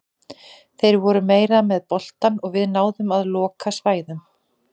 Þeir voru meira með boltann og við náðum að loka svæðum.